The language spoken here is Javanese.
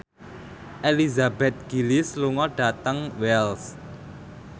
Elizabeth Gillies lunga dhateng Wells